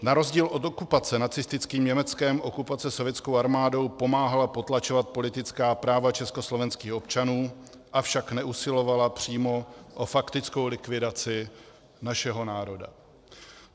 Na rozdíl od okupace nacistickým Německem okupace sovětskou armádou pomáhala potlačovat politická práva československých občanů, avšak neusilovala přímo o faktickou likvidaci našeho národa.